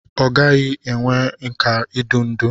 Ọ ghaghị inwe nkà idu ndú.